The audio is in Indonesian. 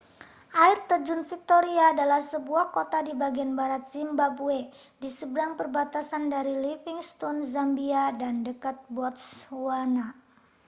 air terjun victoria adalah sebuah kota di bagian barat zimbabwe di seberang perbatasan dari livingstone zambia dan dekat botswana